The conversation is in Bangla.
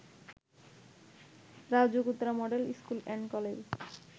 RAJUK Uttara model school and college